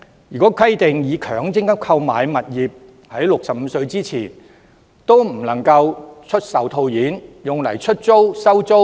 如果規定以強積金購買的物業，在僱員65歲前不能出售套現，那麼能否用以出租、收租？